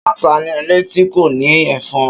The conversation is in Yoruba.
Ṣàṣà ni ilé tí kò ní Ẹ̀fan.